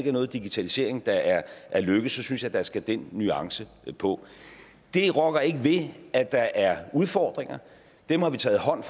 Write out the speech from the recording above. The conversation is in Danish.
er noget digitalisering der er lykkedes synes jeg der skal den nuance på det rokker ikke ved at der er udfordringer dem har vi taget hånd